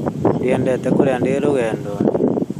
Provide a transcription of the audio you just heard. Ndiendete kũrĩa ndĩ rũgendo-inĩ